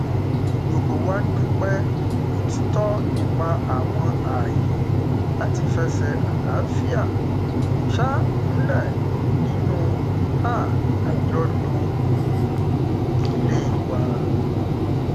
gbogbo wa dúpẹ òtìtọ nípa àwọn ààyè láti fẹsẹ àlàáfíà um múlẹ nínú um àjọlò ilé wa